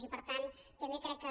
i per tant també crec que